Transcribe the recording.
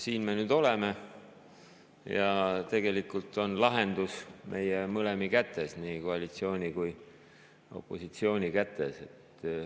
Siin me nüüd oleme ja tegelikult on lahendus meie mõlema kätes, nii koalitsiooni kui ka opositsiooni kätes.